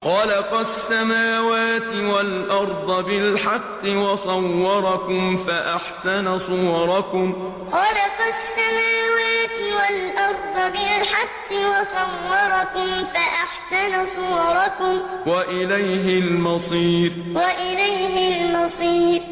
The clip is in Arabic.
خَلَقَ السَّمَاوَاتِ وَالْأَرْضَ بِالْحَقِّ وَصَوَّرَكُمْ فَأَحْسَنَ صُوَرَكُمْ ۖ وَإِلَيْهِ الْمَصِيرُ خَلَقَ السَّمَاوَاتِ وَالْأَرْضَ بِالْحَقِّ وَصَوَّرَكُمْ فَأَحْسَنَ صُوَرَكُمْ ۖ وَإِلَيْهِ الْمَصِيرُ